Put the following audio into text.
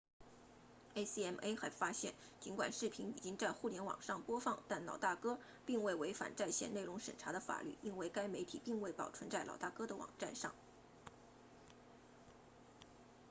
acma 还发现尽管视频已经在互联网上播放但老大哥 big brothe 并未违反在线内容审查的法律因为该媒体并未保存在老大哥的网站上